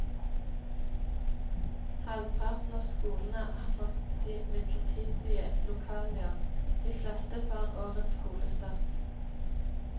Halvparten av skolene har fått de midlertidige lokalene i år, de fleste foran årets skolestart.